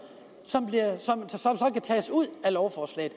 kan tages ud af lovforslaget